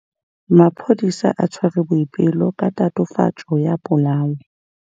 Maphodisa a tshwere Boipelo ka tatofatsô ya polaô.